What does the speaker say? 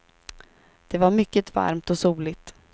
Det var mycket varmt och soligt.